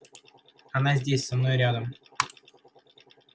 она здесь со мной рядом